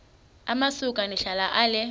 amasuka ndihlala ale